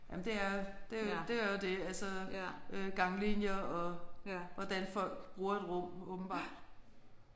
Jamen det er det er det er jo det altså øh ganglinjer og hvordan folk bruger et rum åbenbart